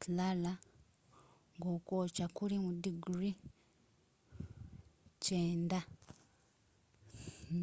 clara ng'okwokya kuli mu diguli 90